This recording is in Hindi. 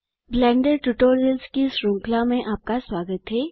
ब्लेंडर ट्यूटोरियल्स की श्रृंखला में आपका स्वागत है